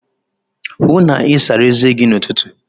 Hụụ na Ị sara eze gi n'ụtụtụ!